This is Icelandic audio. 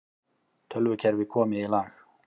Tölvukerfi komið í lag